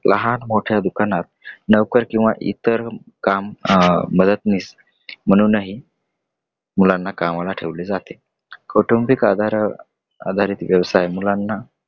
लहान मोठया दुकानात मुलांना नोकर किंवा इतर काम मदतनीस म्हणूनही मुलांना कामास ठेवले जाते. कौटुंबिक आधारित वयवसाय मुलांना